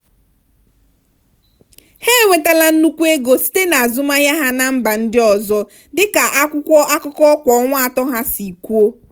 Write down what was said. ha enwetala nnukwu ego site na azụmahịa ha na mba ndị ọzọ dị ka akwụkwọ akụkọ kwa ọnwa atọ ha si kwuo.